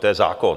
To je zákon.